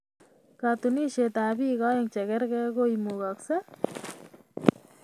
katuniesietab bik aeng chegergei ko imugasei?